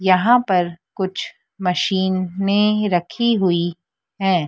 यहां पर कुछ मशीनें रखी हुई हैं।